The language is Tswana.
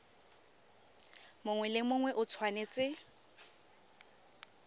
mongwe le mongwe o tshwanetse